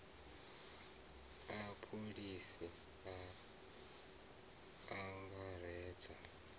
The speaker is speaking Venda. a pholisi a a angaredza